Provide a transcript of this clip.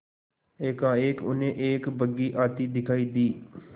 एकाएक उन्हें एक बग्घी आती दिखायी दी